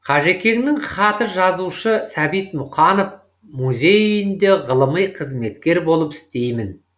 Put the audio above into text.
қажекеңнің хаты жазушы сәбит мұқанов музей үйінде ғылыми қызметкер болып істеймін